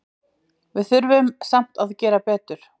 Við þurfum samt að gera betur